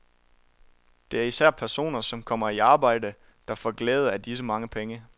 Det er især personer, som kommer i arbejde, der får glæde af disse mange penge.